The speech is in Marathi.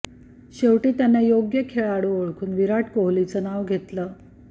शेवटी त्यांनं योग्य खेळाडू ओळखून विराट कोहलीचं नाव घेतलं